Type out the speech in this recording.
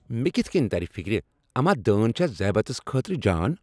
مےٚ کتِھہٕ کٔنۍ ترِ فِكرِ اما دٲن چھا ذیابطیس خٲطرٕ جان ؟